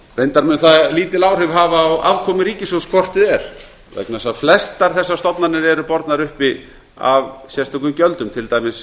reyndar mun það lítil áhrif hafa á afkomu ríkissjóðs hvort eð er vegna þess að flestar þessar stofnanir eru bornar uppi af sérstökum gjöldum til dæmis